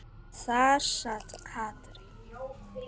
Og þar sat Katrín.